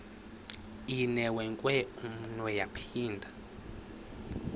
inewenkwe umnwe yaphinda